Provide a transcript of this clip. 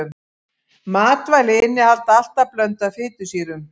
Matvæli innihalda alltaf blöndu af fitusýrum.